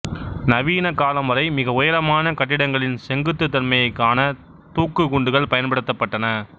நவீன காலம் வரை மிக உயரமான கட்டிடங்களின் செங்குத்துத்தன்மையைக் காண தூக்கு குண்டுகள் பயன்படுத்தப்பட்டன